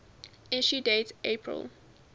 issue date april